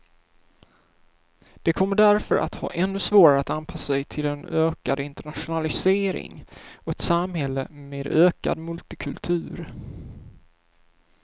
De kommer därför att ha ännu svårare att anpassa sig till en ökad internationalisering och ett samhälle med ökad multikultur.